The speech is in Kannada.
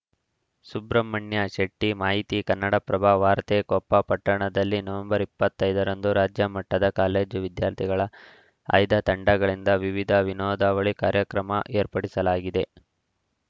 ಸುಬ್ರಹ್ಮಣ್ಯ ಶೆಟ್ಟಿಮಾಹಿತಿ ಕನ್ನಡಪ್ರಭ ವಾರ್ತೆ ಕೊಪ್ಪ ಪಟ್ಟಣದಲ್ಲಿ ನವೆಂಬರ್ ಇಪ್ಪತ್ತ್ ಐದರಂದು ರಾಜ್ಯಮಟ್ಟದ ಕಾಲೇಜು ವಿದ್ಯಾರ್ಥಿಗಳ ಆಯ್ದ ತಂಡಗಳಿಂದ ವಿವಿಧ ವಿನೋದಾವಳಿ ಕಾರ್ಯಕ್ರಮ ಏರ್ಪಡಿಸಲಾಗಿದೆ